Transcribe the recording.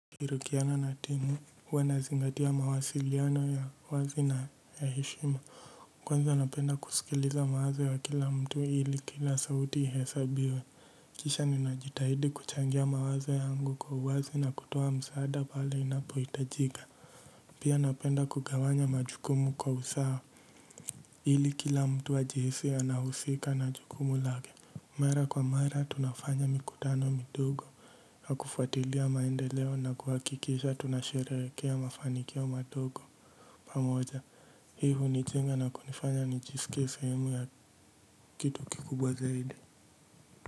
Kishirikiana na timu, huwa nazingatia mawasiliano ya wazi na ya heshima. Kwanza napenda kusikiliza mawazo ya wa kila mtu ili kila sauti ihesabiwe. Kisha ninajitahidi kuchangia mawazo yangu kwa uwazi na kutoa msaada pale inapohitajika. Pia anapenda kugawanya majukumu kwa usawa. Ili kila mtu ajihisi anahusika na jukumu lake. Mara kwa mara tunafanya mikutano midogo ya kufuatilia maendeleo na kuhakikisha tunasheherekea mafanikio madogo pamoja. Hii hunijenga na kunifanya nijisike sahemu ya kitu kikubwa zaidi.